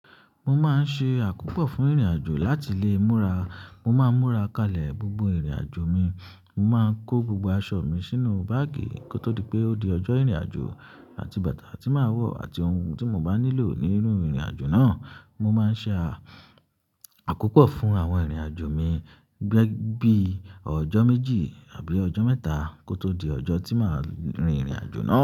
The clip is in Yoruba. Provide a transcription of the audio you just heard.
Mo máa ń ṣe àkópọ̀ fún ìrìnàjò láti lé múra. Mo máa ń múra kalẹ̀ gbogbo ìrìnàjò mi. Mo máa ń kó gbogbo aṣọ mi sínú báàgì kó tó di pé ó di ọjọ́ ìrìnàjò àti bàtà tí màá wọ̀ àti ohun tí mo bá nílò ní inú ìrìnàjò náà. Mo máa ń ṣe àkópọ̀ fún àwọn ìrìnàjò mi bi ọjọ́ méjì àbí ọjọ́ mẹ́ta kó tó di ọjọ́ tí màá rin ìrìnàjò náà.